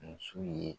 Muso ye